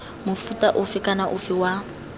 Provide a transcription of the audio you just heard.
mofuta ofe kana ofe wa